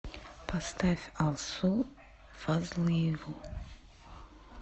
поставь алсу фазлыеву